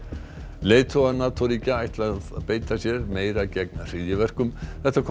leiðtogar NATO ríkja ætla að beita sér meira gegn hryðjuverkum þetta kom